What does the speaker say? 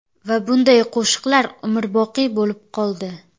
Va bunday qo‘shiqlar umrboqiy bo‘lib qoldi.